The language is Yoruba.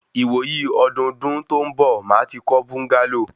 Ìwò yí ọdúndún tó ń bọ̀, màá ti kọ́ búńgálò